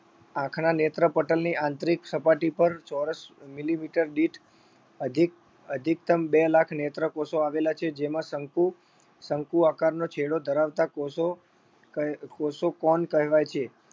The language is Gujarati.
આંખના નેત્રપટલની આંતરિક સપાટી પર ચોરસ millimeter દીઠ અધિક અધિકતમ બે લાખ નેત્રકોષો આવેલા છે. જેમાં શંકુ શંકુ આકારનો છેડો ધરાવતા કોષો કહે કોષો cone કહેવાય છે.